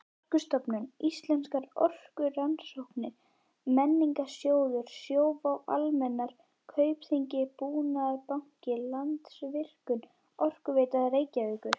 Orkustofnun, Íslenskar orkurannsóknir, Menningarsjóður, Sjóvá-Almennar, Kaupþing-Búnaðarbanki, Landsvirkjun, Orkuveita Reykjavíkur